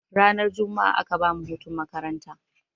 Ranar jumma'a aka bamu hutun makaranta.